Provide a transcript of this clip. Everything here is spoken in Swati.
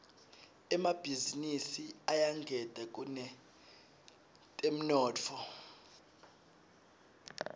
emabhizinisi ayangeta kutemnotfo